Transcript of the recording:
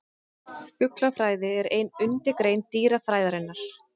Fuglafræði er ein undirgrein dýrafræðinnar.